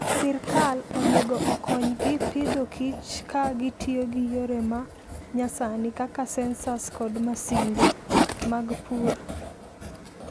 Sirkal onego okonygi Agriculture and Food ka gitiyo gi yore ma nyasani kaka sensors kod masinde mag pur.